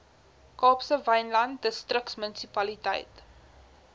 kaapse wynland distriksmunisipaliteit